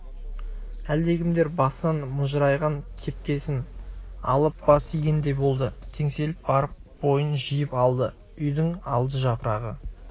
әлдекімдер басынан мыжырайған кепкесін алып бас игендей болды теңселіп барып бойын жиып алды үйдің алды жапырағы